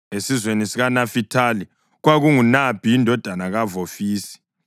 esizweni sikaNafithali, kwakunguNabhi indodana kaVofisi;